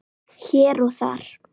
Hér og þar.